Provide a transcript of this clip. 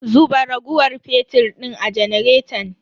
Zuba raguwar fetir din a janaretan.